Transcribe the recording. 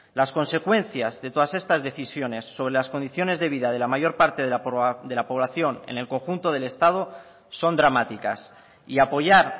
las consecuencias de todas estas decisiones sobre las condiciones de vida de la mayor parte de la población en el conjunto del estado son dramáticas y apoyar